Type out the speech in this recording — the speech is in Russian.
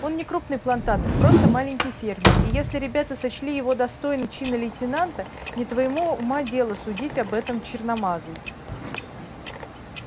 он не крупный плантатор просто маленький фермер и если ребята сочли его достойным чина лейтенанта не твоего ума дело судить об этом черномазый